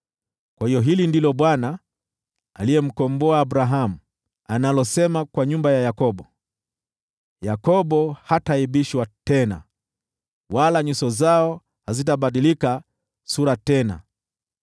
Kwa hiyo hili ndilo Bwana , aliyemkomboa Abrahamu, analosema kwa nyumba ya Yakobo: “Yakobo hataaibishwa tena, wala nyuso zao hazitabadilika sura tena.